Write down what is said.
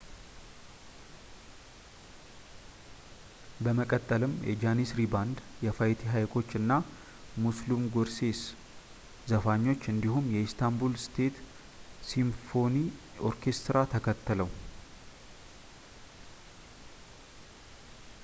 በመቀጠልም የጃኒስሪ ባንድ የፋይቲ ሃይኮች እና ሙስሉም ጉርሴስ ዘፋኞች እንዲሁም የኢስታንቡል ስቴት ሲምፎኒ ኦርኬስትራ ተከተለው